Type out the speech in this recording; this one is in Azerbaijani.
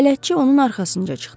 Bələdçi onun arxasınca çıxdı.